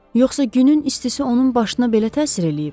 Yoxsa günün istisi onun başına belə təsir eləyib?